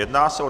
Jedná se o